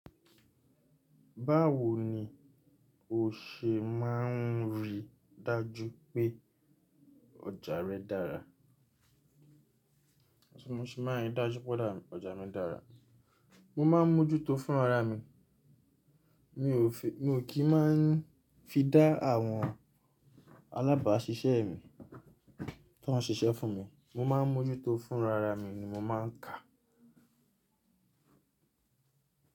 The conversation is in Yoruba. Báwo ni o ṣe máà ń rí dájú pé ọjà rẹ dára? Mo máa ń mójútó fún ara mi, mi ò kí máà ń fi dá àwọn alábàáṣiṣẹ́ mi tó ń ṣiṣẹ́ fún mi, mo má a mójútó fún rara mi ni mo má a ń kà.